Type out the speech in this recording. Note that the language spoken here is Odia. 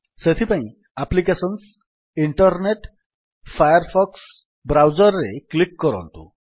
ସେଥିପାଇଁ applications internet Firefox browser ରେ କ୍ଲିକ୍ କରନ୍ତୁ